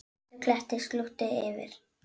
Svartur klettur slútti yfir.